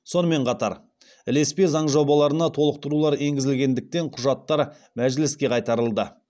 сонымен қатар ілеспе заң жобаларына толықтырулар енгізілгендіктен құжаттар мәжіліске қайтарылды